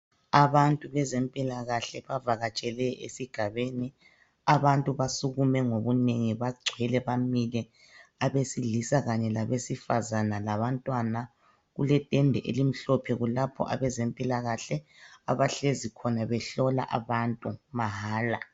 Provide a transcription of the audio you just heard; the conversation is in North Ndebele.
Abantu bezempilakahle bavakatshele esigabeni, abantu basukume ngobunengi bagcwele bamile abesilisa kanye labesifazana labantwana kule tende elimhlophe kulapho abezempilakahle abahlezi khona behlola abantu mahala.